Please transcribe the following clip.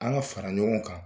An ka fara ɲɔgɔn kan